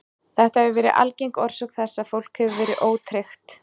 Þetta hefur verið algeng orsök þess að fólk hefur verið ótryggt.